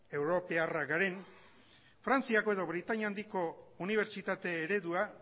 europarrak garen frantziako edo britainia handiko unibertsitate eredua